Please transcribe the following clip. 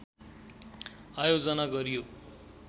आयोजना गरियो